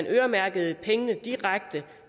øremærke pengene direkte